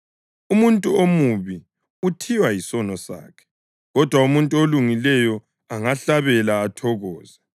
Umuntu omubi uthiywa yisono sakhe, kodwa umuntu olungileyo angahlabela athokoze.